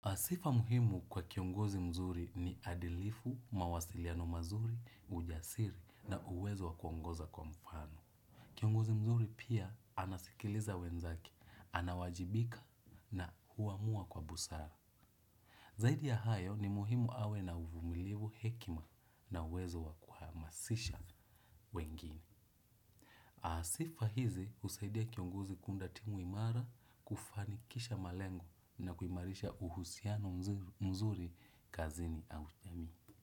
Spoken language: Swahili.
A sifa muhimu kwa kiongozi mzuri ni adilifu, mawasiliano mazuri, ujasiri na uwezo wakuongoza kwa mfano. Kiongozi mzuri pia anasikiliza wenzake, anawajibika na huamua kwa busara. Zaidi ya hayo ni muhimu awe na uvumilivu hekima na uwezo wa kuhamasisha wengine. A sifa hizi husaidia kiongozi kuunda timu imara kufanikisha malengo na kuimarisha uhusiano mzuri kazini au jamii.